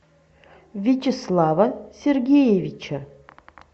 вячеслава сергеевича